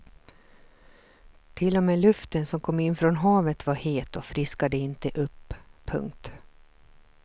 Till och med luften som kom in från havet var het och friskade inte upp. punkt